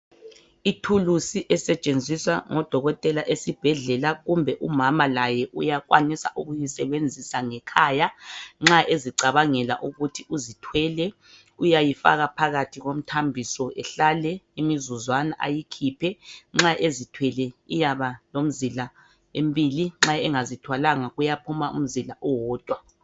Ithilusi esentshenziswa ngodokotela esibhedlela kumbe umama laye uyakwanisa ukuyisibenzisa laye ngekhaya. Nxa ecabangela ukuthi sezithwele, nxa ezithwele kuyaphuma imizila emibili nxa engazithwalanga kuyaphuma umzila owodwa.